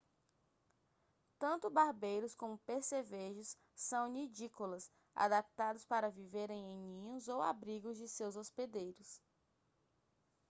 tanto barbeiros como percevejos são nidícolas adaptados para viverem em ninhos ou abrigos de seus hospedeiros